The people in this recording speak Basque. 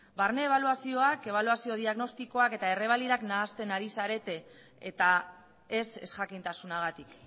barne ebaluazioak ebaluazio diagnostikoak eta errebalidak nahasten ari zarete eta ez ezjakintasunagatik